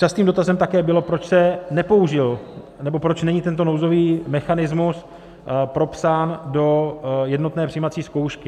Častým dotazem také bylo, proč se nepoužil, nebo proč není tento nouzový mechanismus propsán do jednotné přijímací zkoušky.